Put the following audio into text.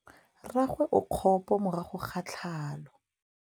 Mmagwe o kgapô morago ga tlhalô.